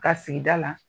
Ka sigida la